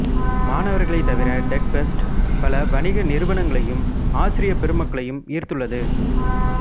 மாணவர்களைத் தவிர டெக்ஃபெஸ்ட் பல வணிக நிறுவனங்களையும் ஆசிரிய பெருமக்களையும் ஈர்த்துள்ளது